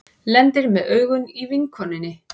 Lendir með augun á vinkonunni.